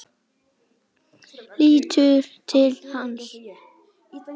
Lítur til hans.